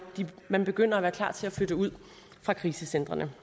man begynder at være klar til at flytte ud fra krisecentrene